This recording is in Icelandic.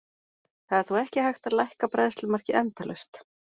Það er þó ekki hægt að lækka bræðslumarkið endalaust.